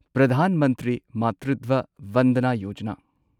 Pradhan Mantri Matritva Vandana Yojana